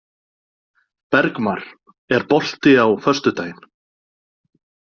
Bergmar, er bolti á föstudaginn?